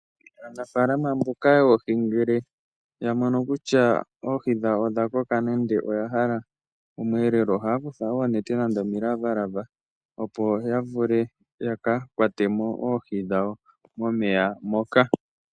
Aanafaalama mboka yoohi ngele ya mono kutya oohi dhawo odha koka, nenge ya hala omweelelo, ohaya kutha oonete nenge omilavalava opo ya vule ya ka kwate mo oohi dhawo momeya moka.